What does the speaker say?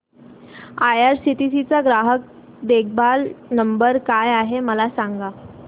IRCTC चा ग्राहक देखभाल नंबर काय आहे मला सांग